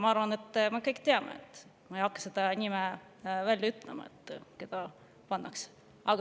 Ma arvan, et me kõik teame seda, ma ei hakka selle nime välja ütlema, kes pannakse.